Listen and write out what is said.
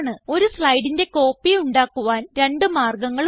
ഒരു സ്ലൈഡിന്റെ കോപ്പി ഉണ്ടാക്കുവാൻ രണ്ട് മാർഗങ്ങളുണ്ട്